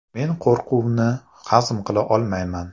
Men qo‘rquvni hazm qila olmayman.